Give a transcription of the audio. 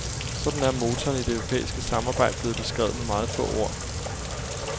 Sådan er motoren i det europæiske samarbejde blevet beskrevet med meget få ord.